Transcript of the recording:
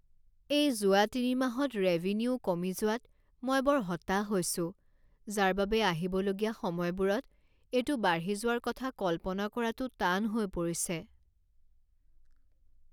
এই যোৱা তিনিমাহত ৰেভিনিউ কমি যোৱাত মই বৰ হতাশ হৈছোঁ যাৰ বাবে আহিবলগীয়া সময়বোৰত এইটো বাঢ়ি যোৱাৰ কথা কল্পনা কৰাটো টান হৈ পৰিছে।